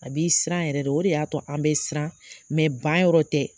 A b'i siran yɛrɛ de. O de y'a to an bɛ siran ban yɔrɔ tɛ.